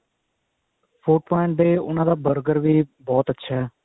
food point ਵਾਲਿਆਂ ਦੇ ਉਹਨਾ ਦਾ burger ਵੀ ਬਹੁਤ ਅੱਛਾ